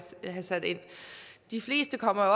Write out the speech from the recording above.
vi have sat ind de fleste kommer